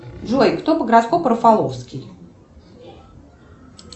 джой кто по гороскопу рафаловский